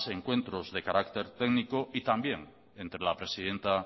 encuentros de carácter técnico y también entre la presidenta